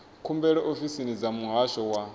khumbelo ofisini dza muhasho wa